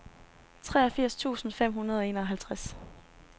treogfirs tusind fem hundrede og enoghalvtreds